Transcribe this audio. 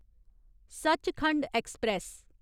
Sachkhand express